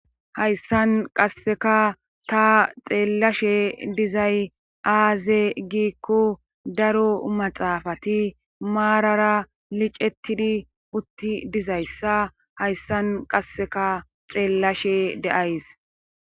hayssan qasseka ta xeellashe dizay aaze giikko daro maxaafati maarara licettidi utti dizayssa hayssan qasseka xeellashe deays